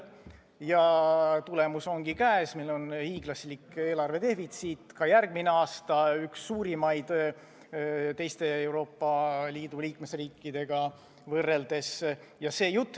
Tagajärg ongi käes, meil on hiiglaslik eelarvedefitsiit, ka järgmisel aastal, üks suurimaid teiste Euroopa Liidu riikidega võrreldes.